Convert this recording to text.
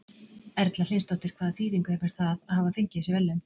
Erla Hlynsdóttir: Hvaða þýðingu hefur það að hafa fengið þessi verðlaun?